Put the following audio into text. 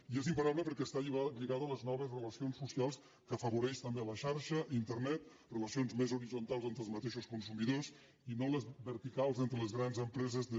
i és imparable perquè està lligat a les noves relacions socials que afavoreix també la xarxa internet relacions més horitzontals entre els mateixos consumidors i no les verticals entre les grans empreses de